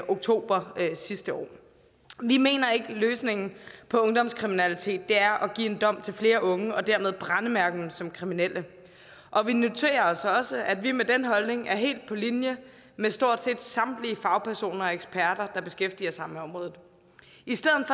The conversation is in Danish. oktober sidste år vi mener ikke at løsningen på ungdomskriminalitet er at give en dom til flere unge og dermed brændemærke dem som kriminelle og vi noterer os også at vi med den holdning er helt på linje med stort set samtlige fagpersoner og eksperter der beskæftiger sig med området i stedet